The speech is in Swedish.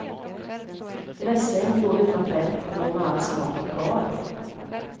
Dressing gjord utan fett, men med all smak kvar.